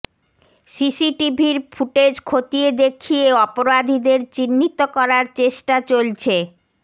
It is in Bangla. সিসিটিভির ফুটেজ খতিয়ে দেখিয়ে অপরাধীদের চিহ্নিত করার চেষ্টা চলছে